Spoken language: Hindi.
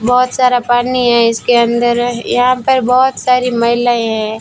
बहोत सारा पानी है इसके अंदर यहां पर बहोत सारी महिलाएं हैं।